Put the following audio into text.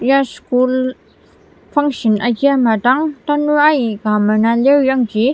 ya school function agir ama dang tanur aika mena lir yangji.